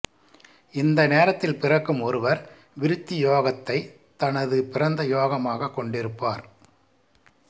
இந்த நேரத்தில் பிறக்கும் ஒருவர் விருத்தி யோகத்தைத் தனது பிறந்த யோகமாகக் கொண்டிருப்பார்